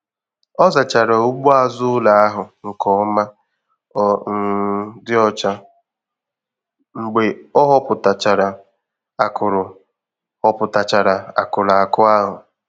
Ọ zachara ugbo azụ ụlọ ahụ nke ọma ọ um dị ọcha mgbe ọ họpụtachara akụrụ họpụtachara akụrụ akụ ahụ.